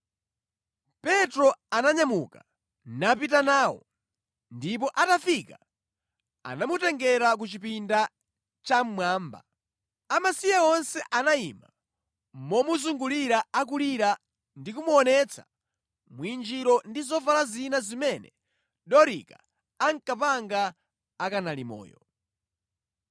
Petro ananyamuka, napita nawo, ndipo atafika anamutengera ku chipinda chammwamba. Amasiye onse anayima momuzungulira akulira ndi kumuonetsa mwinjiro ndi zovala zina zimene Dorika ankapanga akanali moyo.